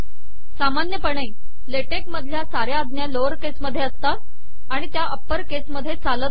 सामानयपणे LaTeX मधलया सवर आजा लोअर केस मधे असतात आिण तया अपर केस मधे चालत नाहीत